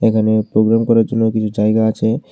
এখানে প্রোগ্রাম করার কিছু জায়গা আছে।